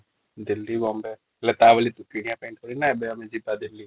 ଦିଲ୍ଲୀ ବୋମବୟ ହେଲେ ତା ବୋଲି କିଣିବା ପାଇ |